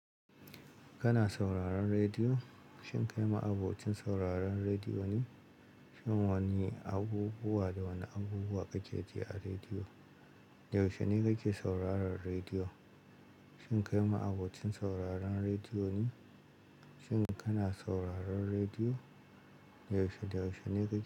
Kana sauraron rediyo? Shin kai ma abokin sauraron rediyo ne? Shin wane abubuwa da wane abubuwa kake ji a rediyo? Yaushe ne kake sauraron rediyo? Shin kai ma abokin sauraron rediyo ne? Shin kana sauraron rediyo? Yaushe, yaushe ne kake.